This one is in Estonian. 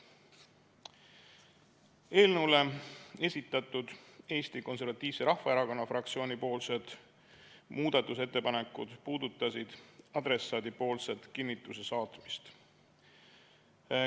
Eelnõu kohta esitatud Eesti Konservatiivse Rahvaerakonna fraktsiooni muudatusettepanekud puudutasid adressaadipoolset kinnituse saatmist.